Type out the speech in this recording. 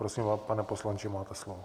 Prosím, pane poslanče, máte slovo.